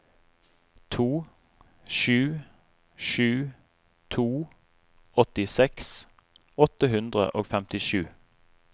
to sju sju to åttiseks åtte hundre og femtisju